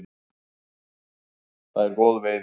Það er góð veiði.